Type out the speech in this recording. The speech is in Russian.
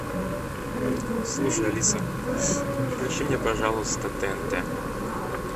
слушай алиса включи мне пожалуйста тнт